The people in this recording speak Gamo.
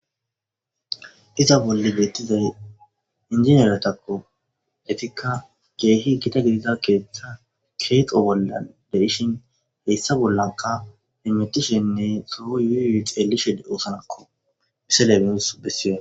Iza bolle beettizay injiniyeretakko etikka geehi kita gidida keeththa keeqo bolla de ishin heyssa bollaka himmetishinne soo yuyu xeelishe oosanakko miseleins bessiye.